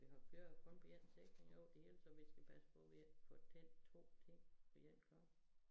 Vi har kører kun på én sikring over det hele så vi skal passe på vi ikke får tændt 2 ting på én gang